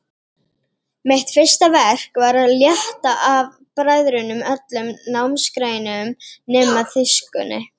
Mitt fyrsta verk var að létta af bræðrunum öllum námsgreinum nema þýskunni.